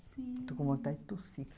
Sim. Estou com vontade de tossir.